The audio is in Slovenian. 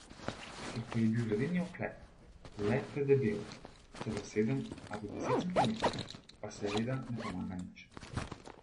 Kjer pa je bil ledeni oklep le predebel, celo sedem ali deset centimetrov, pa seveda ne pomaga nič.